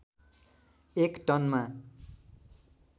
एक टनमा